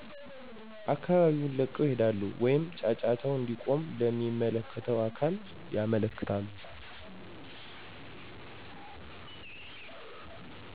አካባቢውን ለቀው ይሄዳሉ ወይም ጫጫታው እንዲቆም ለሚመለከተው አካል ያመለክታሉ